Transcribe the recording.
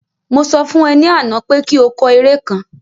Mo sọ fún e ní àná pé kí o kọ eré kan